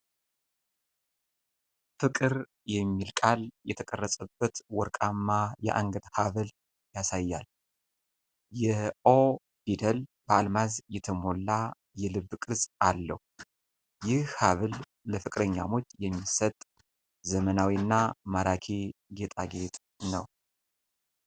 ፍቅር የሚል ቃል የተቀረጸበት ወርቃማ የአንገት ሀብል ያሳያል። የ "ኦ" ፊደል በአልማዝ የተሞላ የልብ ቅርጽ አለው ። ይህ ሀብል ለፍቅረኛሞች የሚሰጥ ዘመናዊ እና ማራኪ ጌጣጌጥ ነው።